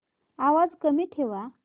आवाज कमी ठेवा